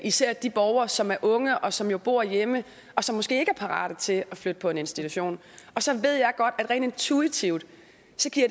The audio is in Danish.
især de borgere som er unge og som jo bor hjemme og som måske ikke er parate til at flytte på en institution og så ved jeg godt at det rent intuitivt